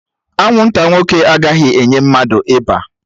Anwụnta nwoke agaghị enye mmadụ ịba